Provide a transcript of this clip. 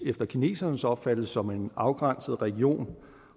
efter kinesernes opfattelse som en afgrænset region